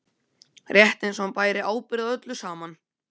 Rétt eins og hann bæri ábyrgð á öllu saman.